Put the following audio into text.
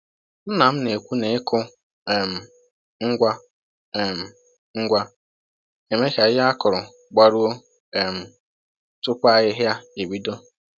Nna m na-ekwu na ịkụ um ngwa um ngwa na-eme ka ihe a kụrụ gbaruo um tupu ahịhịa ebido.